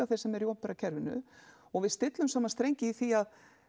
þeir sem eru í opinberakerfinu og við stillum saman strengi í því